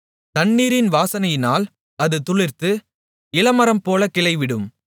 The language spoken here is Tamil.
தண்ணீரின் வாசனையினால் அது துளிர்த்து இளமரம்போலக் கிளைவிடும்